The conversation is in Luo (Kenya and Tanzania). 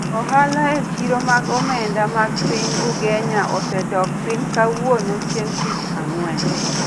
Ohala e chiro mag omenda mag piny Ugenya osedok piny kawuono chieng' tich ang'wen